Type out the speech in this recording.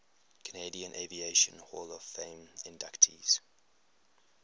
canadian aviation hall of fame inductees